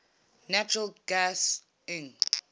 natural gas lng